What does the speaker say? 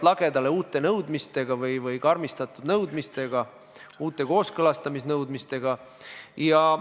Teatavasti ei olnud eelnõu 118 eluiga siin parlamendis kuigi pikk, sest Riigikogu lükkas eelnõu esimesel lugemisel, s.o 17. detsembril 2019. aastal tagasi.